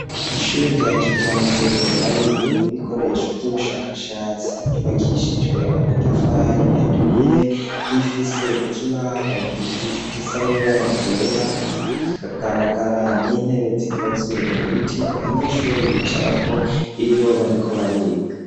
Ishure rya kijambere hariyo ibikoresho vy'ubushakashatsi ryubakishijwe amatafari aturiye rifise ikibaho gisa nibara ryera hakagaragara n'intebe zikozwe mu biti abanyeshure bicara ko iyo bariko bariga.